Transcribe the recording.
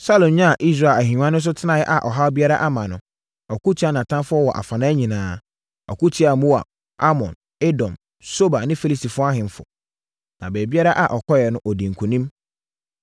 Saulo nyaa Israel ahennwa no so tenaeɛ a ɔhaw biara mma no, ɔko tiaa nʼatamfoɔ wɔ afanan nyinaa. Ɔko tiaa Moab, Amon, Edom Soba ne Filistifoɔ ahemfo. Na baabiara a ɔkɔeɛ no, ɔdii nkonim.